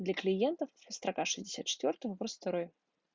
для клиентов в строка шестьдесят четвёртая вопрос второй